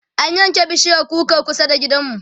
an yanke bishiyar kukar kusa da gidanmu